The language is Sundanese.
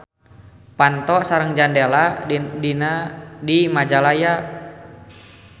Panto sareng jandelana di Majalaya.